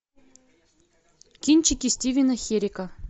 кинчики стивена херрика